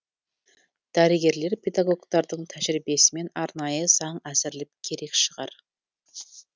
дәрігерлер педагогтардың тәжірибесімен арнайы заң әзірлеу керек шығар